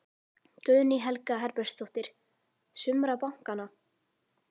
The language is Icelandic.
Guðný Helga Herbertsdóttir: Sumra bankanna?